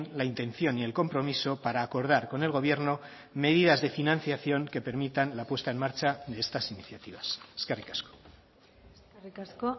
la intención y el compromiso para acordar con el gobierno medidas de financiación que permitan la puesta en marcha de estas iniciativas eskerrik asko eskerrik asko